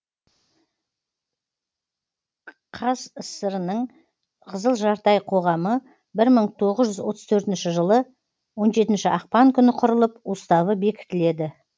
қазсср ның қызыл жарты ай қоғамы бір мың тоғыз жүз отыз төртінші жылы он жетінші ақпан күні құрылып уставы бекітіледі